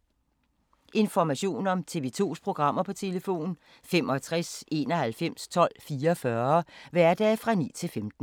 Information om TV 2's programmer: 65 91 12 44, hverdage 9-15.